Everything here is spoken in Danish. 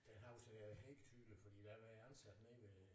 Det husker jeg helt tydeligt fordi der var jeg ansat nede ved